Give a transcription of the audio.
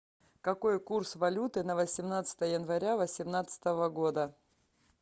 какой курс валюты на восемнадцатое января восемнадцатого года